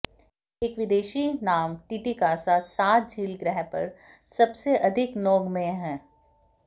एक विदेशी नाम टिटिकासा साथ झील ग्रह पर सबसे अधिक नौगम्य है